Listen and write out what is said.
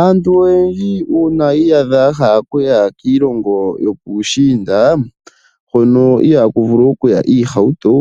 Aantu oyendji uuna yi iyadha yahala okuya kiilongo yopuushiinda hono ihaaku vulu okuya iihauto,